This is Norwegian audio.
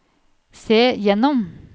se gjennom